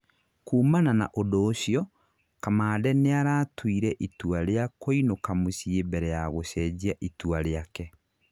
kuumana na ũndũ ũcio, kamande nĩaratũire itua rĩa kũinũka mũcĩĩ mbere ya gũcenjia itua rĩake